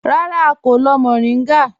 Rárá, à kò lọ́ mòríngá